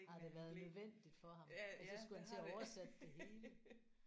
Har det været nødvendigt for ham ellers så skulle han til at oversætte det hele